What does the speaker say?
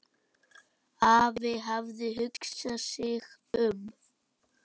Afi hafði hugsað sig um.